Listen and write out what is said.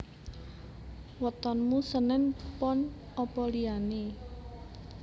Wetonmu senen pon opo liyane?